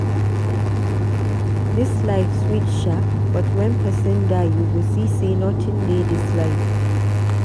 Dis life sweet shaa, but wen pesin die, you go see sey notin dey dis life.